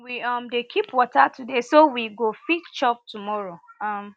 we um dey keep water today so we go fit chop tomorrow um